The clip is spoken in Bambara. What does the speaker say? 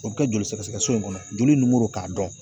O bɛ kɛ joli sɛgɛsɛgɛ so in kɔnɔ joli nimoro k'a dɔn.